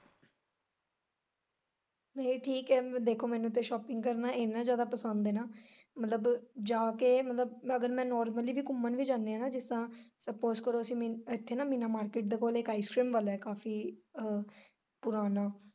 ਏਹ ਠੀਕ ਐ ਦੇਖੋ ਮੈਨੂੰ ਤੇ shopping ਕਰਨਾ ਇੰਨਾ ਜਿਆਦਾ ਪਸੰਦ ਐ ਮਤਲਬ ਜਾ ਕੇ ਮਤਲਬ ਅਗਰ ਮੈਂ normally ਵੀ ਘੁੰਮਣ ਵੀ ਜਾਨੇ ਜਿਸ ਤਰਾਂ suppose ਕਰੋ ਅਸੀ ਇੱਥੇ ਮੀਨਾ market ਦੇ ਕੋਲ ice-cream ਵਾਲਾ ਐ ਕਾਫੀ ਅ ਪੁਰਾਣਾ।